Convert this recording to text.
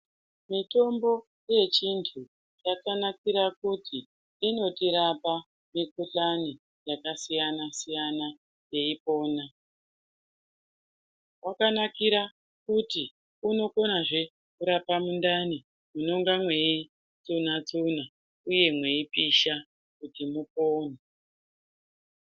Mitombo yechiantu yakanakira kuti inotirapa mikhuhlane yakasiyana siyana teipona. Yakanakira kuti unokonazve kurapa mundani munonga mweitsuna tsuna uye mweipisha kuti mupone.